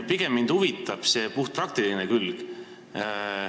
Pigem huvitab mind puhtpraktiline külg.